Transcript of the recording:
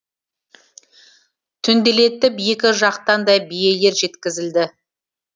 түнделетіп екі жақтан да биелер жеткізілді